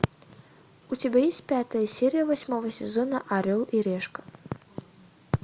у тебя есть пятая серия восьмого сезона орел и решка